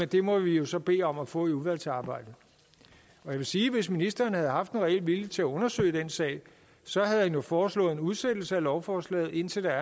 det må vi jo så bede om at få i udvalgsarbejdet jeg vil sige at hvis ministeren havde haft en reel vilje til at undersøge den sag havde han jo foreslået en udsættelse af lovforslaget indtil der